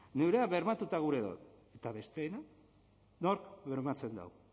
gureak bermatuta gure daude eta besteena nork bermatzen dau